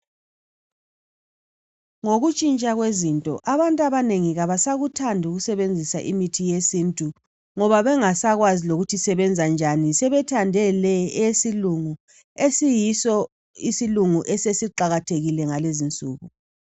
ngokutshintsha kwezinto abantu abanengi abasakuthandi ukusebenzisa imithi yesintu ngoba bengasakwazi ukuthi isebenza njani sebethande le eyesilungu esiyiso esesiqakathekile bgalezi insuku